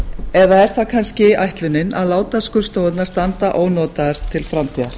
eða er það kannski ætlunin að láta skurðstofurnar standa ónotaðar til framtíðar